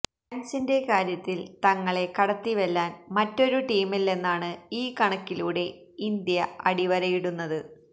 ഫാന്സിന്റെ കാര്യത്തില് തങ്ങളെ കടത്തിവെല്ലാന് മറ്റൊരു ടീമില്ലെന്നാണ് ഈ കണക്കിലൂടെ ഇന്ത്യ അടിവരയിടുന്നത്